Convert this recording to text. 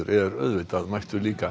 er auðvitað mættur líka